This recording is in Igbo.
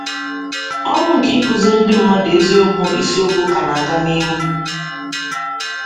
Ọrụ nke ịkụziri ndị mmadụ eziokwu ịsiokwu ka na - aga n’ihu.